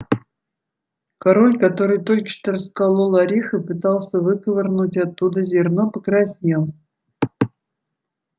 король который только что расколол орех и пытался выковырнуть оттуда зерно покраснел